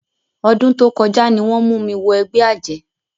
Ọdún tó kọjá ni wọ́n mú mi wọ ẹgbẹ́ àjẹ́.